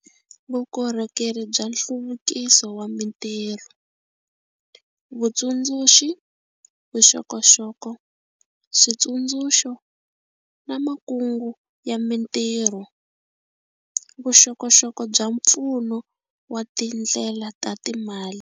Vukorhokeri bya nhluvukiso wa mitirho, Vutsundzuxi, vuxokoxoko, switsundzuxo na makungu ya mitirho - vuxokoxoko bya pfuno wa tindlela ta timali.